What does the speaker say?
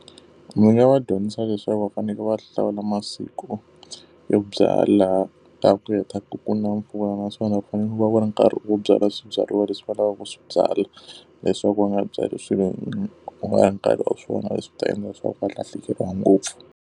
Ndzi nga va dyondzisa leswaku va fanekele va hlawula masiku yo byala, laha ku hetaka ku na mpfula naswona ku va ku ri nkarhi wo byala swibyariwa leswi va lavaka ku swi byala. leswaku va nga byali swilo ku nga ri nkarhi wa swona, leswi ta endla leswaku va lahlekeriwa ngopfu.